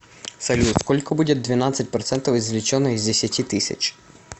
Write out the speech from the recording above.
салют сколько будет двенадцать процентов извлеченное из десяти тысяч